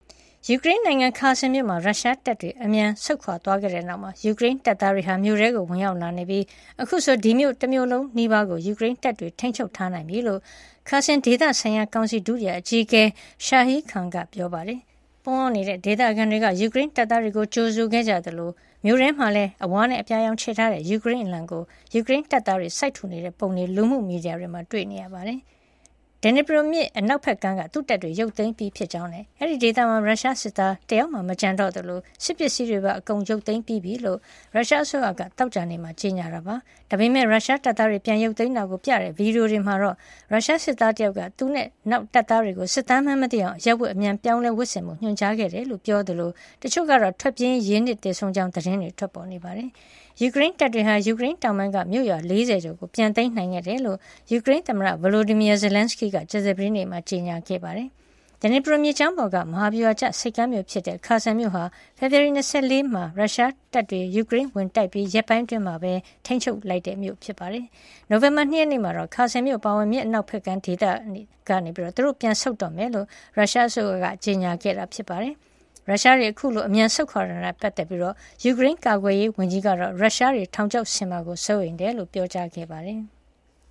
ယူကရိန်းနိုင်ငံ Kherson မြို့မှာ ရုရှားတပ်တွေ အမြန်ဆုတ်ခွါသွားတဲ့နောက် ယူကရိန်းတပ်သားတွေ မြို့ထဲကို ဝင်ရောက်လာနေပြီး အခုဆို ဒီမြို့တမြို့လုံးနီးပါးကို ယူကရိန်းတပ်တွေ ထိန်းချုပ်ထားနိုင်ပြီလို့ Kherson ဒေသဆိုင်ရာ ကောင်စီ ဒုတိယအကြီးအကဲ Serhiy Khlan က ပြောပါတယ်။ ပုန်းအောင်းနေတဲ့ ဒေသခံတွေက ယူကရိန်းတပ်သားတွေကို ကြိုဆိုခဲ့ကြသလို မြို့ထဲမှာလည်း အဝါနဲ့ အပြာရောင်ခြယ်ထားတဲ့ ယူကရိန်းအလံကို ယူကရိန်တပ်သားတွေ စိုက်ထူနေတဲ့ ပုံတွေကို လူမှုမီဒီယာတွေမှာ တွေ့နေရပါတယ်။ Dnipro မြစ် အနောက်ဖက်ကမ်းက သူ့တပ်တွေကို ပြန်ရုတ်သိမ်းပြီး ဖြစ်ကြောင်းနဲ့ အဲဒီဒေသမှာ ရုရှားစစ်သားတယောက်မှ မကျန်တော့သလို စစ်ပစ္စည်းတွေပါ အကုန်ရုတ်သိမ်းပြီးဖြစ်ကြောင်း ရုရှားအစိုးရက သောကြာနေ့မှာ ကြေညာခဲ့ပါတယ်။ ဒါပေမယ့် ရုရှားတပ်သားတွေ ပြန်ရုတ်သိမ်းတာကို ပြသတဲ့ ဗီဒီယိုတွေမှာတော့ ရုရှားစစ်သားတယောက်က သူနဲ့ နောက်တပ်သားတွေကို စစ်သားမှန်းမသိအောင် အရပ်ဝတ်အမြန် ပြောင်းလဲဝတ်ဆင်ဖို့ ညွှန်ကြားခဲ့တယ်လို့ ပြောခဲ့သလို တချို့ကတော့ ထွက်ပြေးရင်း ရေနစ်သေဆုံးကြောင်း သတင်းတွေ ထွက်ပေါ်နေပါတယ်။ ယူကရိန်းတပ်တွေဟာ ယူကရိန်းတောင်ပိုင်းက မြို့ရွာ ၄၀ ကျော်ကို ပြန်သိမ်းနိုင်ခဲ့တယ်လို့ ယူကရိန်းသမ္မတ Volodymyr Zelenskyy က ကြာသပတေးနေ့မှာ ကြေညာခဲ့ပါတယ်။ Dnipro မြစ်ကြောင်းပေါ်က မဟာဗျူဟာကျဆိပ်ကမ်းမြို့ဖြစ်တဲ့ Kherson မြို့ဟာ ဖေဖေါ်ဝါရီ ၂၄ ရုရှားတွေ ယူကရိန်းကို ဝင်တိုက်ပြီး ရက်ပိုင်း အတွင်းမှာပဲ ရုရှားတပ်တွေ ထိန်းချုပ်ခဲ့တဲ့ မြို့ဖြစ်ပါတယ်။ နိုဝင်ဘာ ၂ ရက်မှာတော့ Kherson မြို့အပါအဝင် မြစ် အနောက်ဖက်ကမ်းဒေသကနေ သူတို့ ပြန်ဆုတ်တော့မှာ ဖြစ်ကြောင်း ရုရှားအစိုးရက ကြေညာခဲ့တာ ဖြစ်ပါတယ်။ ရုရှားတွေ အခုလို အမြန်ဆုတ်ခွါသွားတာ နဲ့ ပတ်သက်ပြီး ယူကရိန်းကာကွယ်ရေး ဝန်ကြီး Oleksiy Reznikov ကတော့ ရုရှားတွေ ထောင်ချောက်ဆင်မှာကို စိုးရိမ်ကြောင်း ပြောကြားခဲ့ပါတယ်။